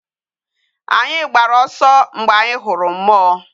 Anyi gbara oso mgbe anyi huru mmuo